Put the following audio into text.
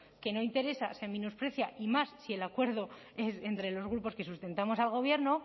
que no interesa se menosprecia y más si el acuerdo entre los grupos que sustentamos al gobierno